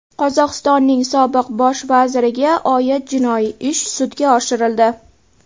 Qozog‘istonning sobiq bosh vaziriga oid jinoiy ish sudga oshirildi.